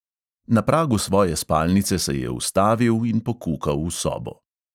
Na pragu svoje spalnice se je ustavil in pokukal v sobo.